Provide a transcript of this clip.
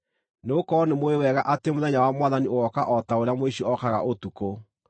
nĩgũkorwo nĩmũũĩ wega atĩ mũthenya wa Mwathani ũgooka o ta ũrĩa mũici okaga ũtukũ.